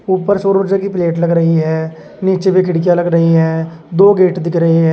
ऊपर सौर ऊर्जा की प्लेट लग रही है नीचे भी खिड़कियां लग रही है दो गेट दिख रही है।